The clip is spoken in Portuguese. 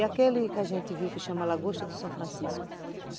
É aquele que a gente viu que chama lagosta do São Francisco.